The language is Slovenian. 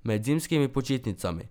Med zimskimi počitnicami?